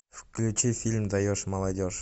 включи фильм даешь молодежь